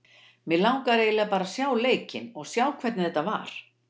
Mig langar eiginlega bara að sjá leikinn og sjá hvernig þetta var.